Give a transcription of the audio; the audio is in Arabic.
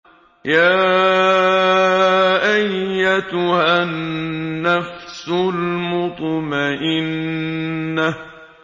يَا أَيَّتُهَا النَّفْسُ الْمُطْمَئِنَّةُ